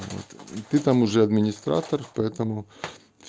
вот ты там уже администратор поэтому ф